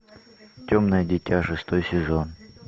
темное дитя шестой сезон